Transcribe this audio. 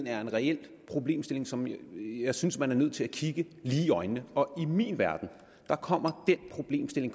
er en reel problemstilling som jeg synes man er nødt til at se i øjnene i min verden kommer den problemstilling